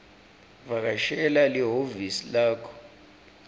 vakashela lihhovisi lakho